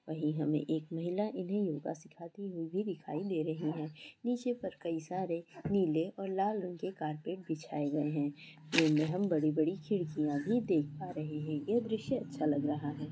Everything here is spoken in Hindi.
वहीं हमें एक महिला इन्हें योगा सिखाती हुई भी दिखाय दे रही है। नीचे पर कई सारे नीले और लाल रंग के कारपेट बिछाये गए हैं। इनमें हम बड़ी-बड़ी खिड़कियाँ भी देख पा रहे हैं। यह दृश्य अच्छा लग रहा है।